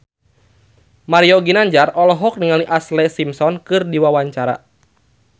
Mario Ginanjar olohok ningali Ashlee Simpson keur diwawancara